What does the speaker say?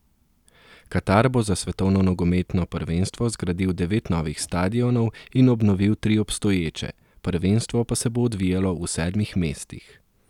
Katar bo za svetovno nogometno prvenstvo zgradil devet novih stadionov in obnovil tri obstoječe, prvenstvo pa se bo odvijalo v sedmih mestih.